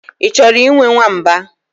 Ị chọrọ ịnwe nwamba?